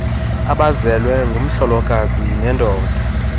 abazelwe ngumhlolokazi nendoda